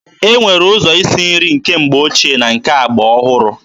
E nwere ụzọ isi nri nke mgbe ochie na nke agba ọhụrụ.